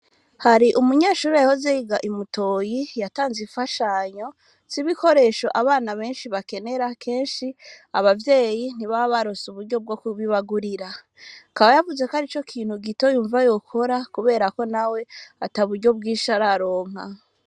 Hari umunyeshuri yahoze yiga Imutoyi yatanze infashanyo z'ibikoresho abana beshi bakenera keshi aba vyeyi ntibaba baronse uburyo bwo kubibagurira akaba yavuze ko arico kintu gito yumva yokora kuberako nawe ataburyo bwishi araronka,